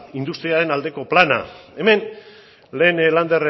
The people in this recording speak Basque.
industria aldeko plana hemen lehen lander